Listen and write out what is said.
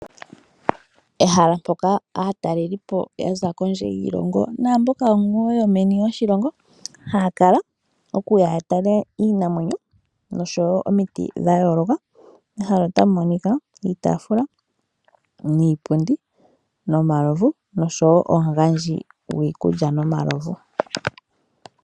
Ehala mpoka aatalelipo yaza kondje yiishilongo naamboka wo yomeni yoshilongo haya kala okuya yatale iinamwenyo nosho wo omiti dhayooloka. Mehala otamu monika iitaafula niipundi nomalovu, nosho wo omugandji gwiikulya nomalovu.